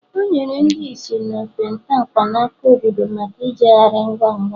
o nyere ndị ìsì na okpete mkpanaka obodo maka ijegharị ngwa ngwa